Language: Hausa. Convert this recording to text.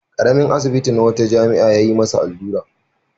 Ƙaramain asibi na wata jami'a ya yi masa allura.